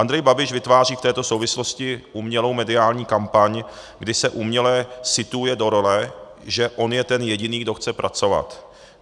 Andrej Babiš vytváří v této souvislosti umělou mediální kampaň, kdy se uměle situuje do role, že on je ten jediný, kdo chce pracovat.